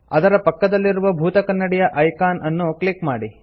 ಅದರ ಪಕ್ಕದಲ್ಲಿರುವ ಭೂತಕನ್ನಡಿಯ ಐಕಾನ್ ಅನ್ನು ಕ್ಲಿಕ್ ಮಾಡಿ